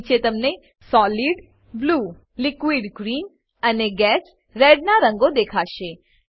નીચે તમને solid blue liquid green અને gas રેડ નાં રંગો દેખાશે